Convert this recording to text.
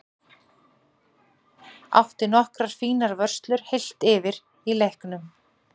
Átti nokkrar fínar vörslur heilt yfir í leiknum.